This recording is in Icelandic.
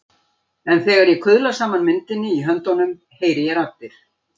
En þegar ég kuðla saman myndinni í höndunum heyri ég raddir.